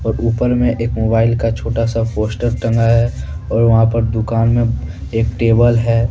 ऊपर में एक मोबाइल का छोटा सा पोस्टर टंगा हैऔर वहां पर दुकान में एक टेबल है।